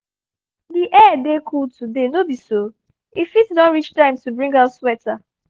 the air dey cool today no be so? e fit don reach time to bring out sweater